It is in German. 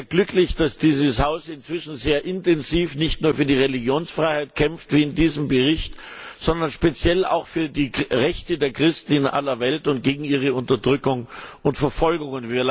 Ich bin sehr glücklich, dass dieses Haus inzwischen sehr intensiv nicht nur für die Religionsfreiheit kämpft, wie in diesem Bericht, sondern speziell auch für die Rechte der Christen in aller Welt und gegen ihre Unterdrückung und Verfolgung.